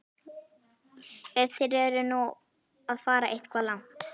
Ef þeir eru nú að fara eitthvað langt.